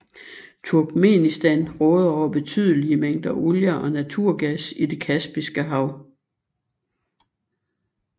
Turkmenistan råder over betydelige mængder olie og naturgas i det Kaspiske Hav